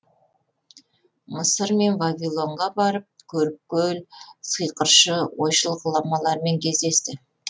мысыр мен вавилонға барып көріпкел сиқыршы ойшыл ғұламалармен кездесті